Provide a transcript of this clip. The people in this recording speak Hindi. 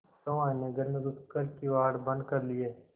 सहुआइन ने घर में घुस कर किवाड़ बंद कर लिये